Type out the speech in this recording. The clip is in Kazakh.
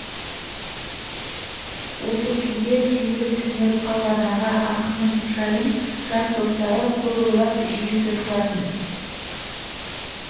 осы күйде түйіліп түнеріп қалған аға ақынның жайын жас достары көп ойлап жиі сөз қылатын